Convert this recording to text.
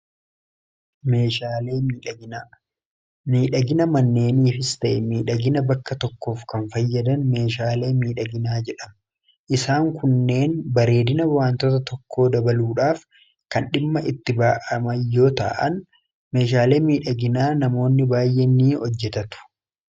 meeshaalee midhaginaa miidhagina manneenii fistee miidhagina bakka tokkoof kan fayyadan meeshaalee miidhaginaa jedham isaan kunneen bareedina waantoota tokkoo dabaluudhaaf kan dhimma itti ba'amayyoo ta'an meeshaalee miidhaginaa namoonni baay'ee ni hojjetatu